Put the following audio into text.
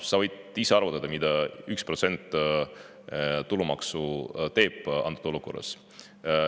Sa võid ise arvutada, mida üks protsent tulumaksu teeb antud olukorras.